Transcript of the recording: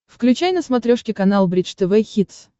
включай на смотрешке канал бридж тв хитс